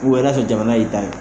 na tɛ jamana e ta ye.